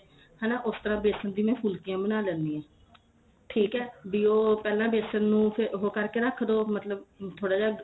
ਹਨਾ ਉਸ ਤਰ੍ਹਾਂ ਬੇਸਣ ਦੀ ਮੈਂ ਫੁਲਕੀਆ ਬਣਾ ਲੈਣੀ ਆ ਠੀਕ ਏ ਫ਼ਿਰ ਉਹ ਪਹਿਲਾਂ ਬੇਸਣ ਨੂੰ ਫੇਰ ਉਹ ਕਰਕੇ ਰੱਖ ਦੋ ਮਤਲਬ ਥੋੜਾ ਜਾ